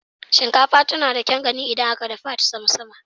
Shinkafa tana da kyaun gani idan aka dafa ta sama-sama.